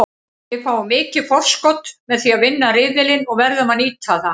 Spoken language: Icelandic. Við fáum mikið forskot með því að vinna riðilinn og verðum að nýta það.